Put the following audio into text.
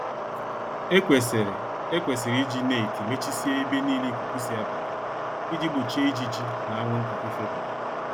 Ekwesịrị Ekwesịrị iji neetị mechisie ebe nile ikuku si abata, iji gbochie ijiji na anwụnta ifebata.